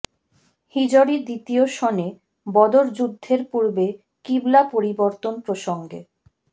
হিজরী দ্বিতীয় সনে বদর যুদ্ধের পূর্বে কিবলা পরিবর্তন প্রসঙ্গে